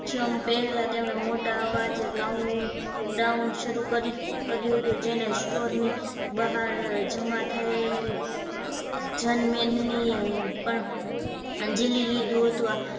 ક્ષણ પહેલા તેમણે મોટા અવાજે count round શરૂ કરી કર્યુ હતું જેણે store ની બહાર જમા થયેલી જનમેદનીએ પણ આંજી લી લીધું હતું